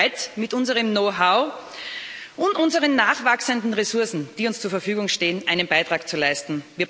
Wir sind bereit, mit unserem Knowhow und unseren nachwachsenden Ressourcen, die uns zur Verfügung stehen, einen Beitrag zu leisten.